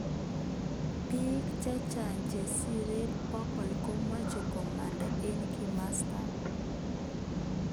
Bik chechang chesirei bokol komeche komanda eng kimosatak.